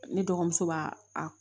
Ne dɔgɔmuso b'a a